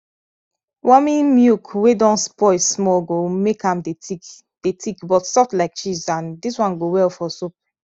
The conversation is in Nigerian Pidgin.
warming milk wey don spoil small go make am dey thick dey thick but soft like cheese and dis one go well for soup